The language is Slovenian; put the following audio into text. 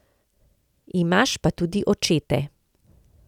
Imaš pa tudi očete.